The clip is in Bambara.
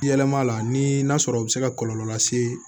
Yɛlɛma la ni n'a sɔrɔ o bɛ se ka kɔlɔlɔ lase